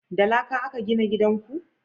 da laƙa a ka gina gidan ku?